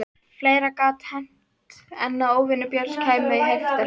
Fleira gat hent en að óvinir Björns kæmu í heiftarhug.